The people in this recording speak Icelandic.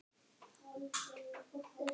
En þeir tímar!